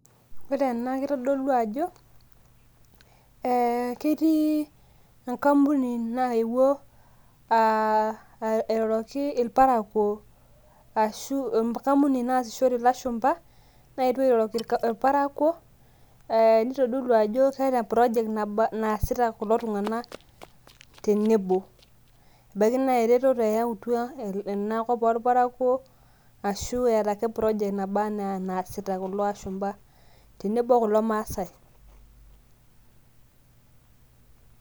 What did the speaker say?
ore ena kitodolu ajo ketii, enkampuni nayewuo ilaparkuo. ashu enkampuni naasishore ilashumpa, naayetuo airoroki irparakuo. neitoolu ajo keeta project naasita kulo tunganak tenebo. ebaiki naa eretoto eyautua ena kop oorparakuo aashu eeta ake project naba anaaa enaasita kulo ashumpa. tenebo kulo maasae.